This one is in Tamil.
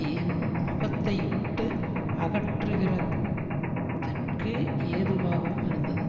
என் முகத்தை விட்டு அகற்றுகிறதற்கு ஏதுவாகவும் இருந்தது